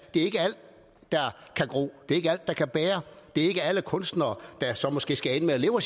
der kan gro det er ikke alt der kan bære og det er ikke alle kunstnere der så måske skal ende med at leve af